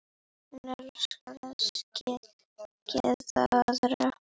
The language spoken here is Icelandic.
Hún elskaði að gleðja aðra.